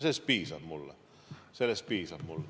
Sellest mulle piisab.